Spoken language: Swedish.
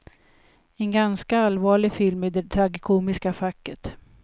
En ganska allvarlig film i det tragikomiska facket.